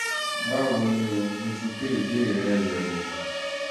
báwo ni o? mo ti gbé ìbéèrè rẹ yẹ̀ wò